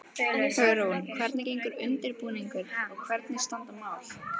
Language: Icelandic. Hugrún, hvernig gengur undirbúningur og hvernig standa mál?